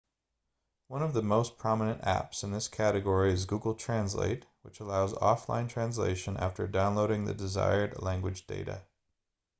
one of the most prominent apps in this category is google translate which allows offline translation after downloading the desired language data